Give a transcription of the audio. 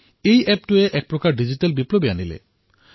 এই এপটোৱে গাঁৱত এক প্ৰকাৰে ডিজিটেল আন্দোলন গঢ়ি তুলিলে